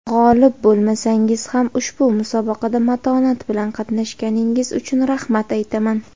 G‘olib bo‘lmasangiz ham ushbu musobaqada matonat bilan qatnashganingiz uchun rahmat aytaman.